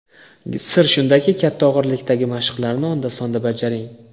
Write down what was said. Sir shundaki, katta og‘irlikdagi mashqlarni onda-sonda bajaring.